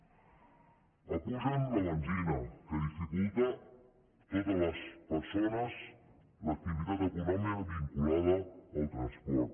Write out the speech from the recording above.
apugen la benzina que dificulta totes les persones l’activitat econòmica vinculada al transport